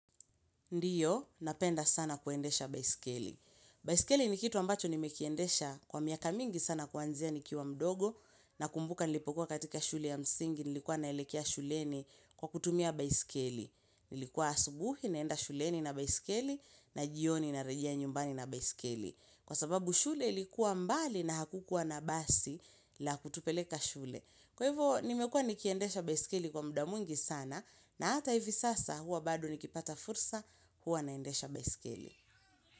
Ndiyo, napenda sana kuendesha baiskeli. Baiskeli ni kitu ambacho nimekiendesha kwa miaka mingi sana kuanzia nikiwa mdogo na kumbuka nilipokuwa katika shule ya msingi, nilikuwa naelekea shuleni kwa kutumia baiskeli. Nilikuwa asubuhi, naenda shuleni na baiskeli na jioni na rejea nyumbani na baiskeli. Kwa sababu shule ilikuwa mbali na hakukuwa na basi la kutupeleka shule. Kwa hivyo, nimekuwa nikiendesha baiskeli kwa muda mwingi sana na hata hivi sasa huwa bado nikipata fursa huwa naendesha besikeli.